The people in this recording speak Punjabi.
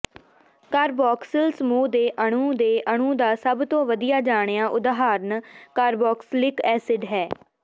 ਕਾਰਬੌਕਸਿਲ ਸਮੂਹ ਦੇ ਅਣੂ ਦੇ ਅਣੂ ਦਾ ਸਭ ਤੋਂ ਵਧੀਆ ਜਾਣਿਆ ਉਦਾਹਰਣ ਕਾਰਬੌਕਸਿਲਿਕ ਐਸਿਡ ਹੈ